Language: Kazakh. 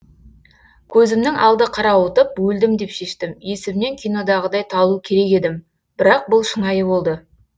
көзімнің алды қарауытып өлдім деп шештім есімнен кинодағыдай талу керек едім бірақ бұл шынайы болды